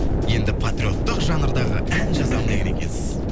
енді патриоттық жанрдағы ән жазамын деген екенсіз